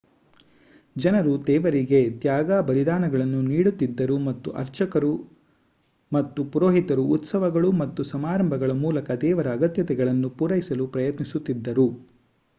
ಜನರು ದೇವರಿಗೆ ತ್ಯಾಗ ಬಲಿದಾನಗಳನ್ನು ನೀಡುತ್ತಿದ್ದರು ಮತ್ತು ಅರ್ಚಕರು ಮತ್ತು ಪುರೋಹಿತರು ಉತ್ಸವಗಳು ಮತ್ತು ಸಮಾರಂಭಗಳ ಮೂಲಕ ದೇವರ ಅಗತ್ಯತೆಗಳನ್ನು ಪೂರೈಸಲು ಪ್ರಯತ್ನಿಸುತ್ತಿದ್ದರು